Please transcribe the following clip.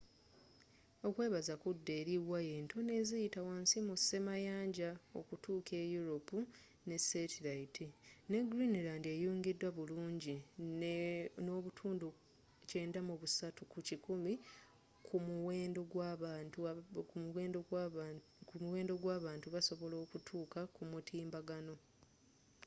okwebaza kudda eri waya entono eziyita wansi mu semayanja okutuuka e europe n'esetiliyiti ne greenland eyungidwa bulungi ne 93% kumuwendo gw'abantu basobola okutuuka kumutimbagano